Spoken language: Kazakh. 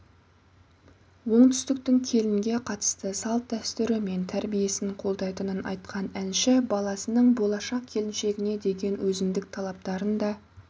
оңтүстіктің келінге қатысты салт-дәстүрі мен тәрбиесін қолдайтынын айтқан әнші баласының болашақ келіншегіне деген өзіндік талаптарын да